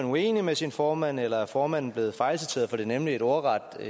uenig med sin formand eller er formanden blevet fejlciteret for det er nemlig et ordret